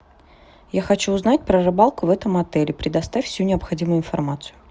я хочу узнать про рыбалку в этом отеле предоставь всю необходимую информацию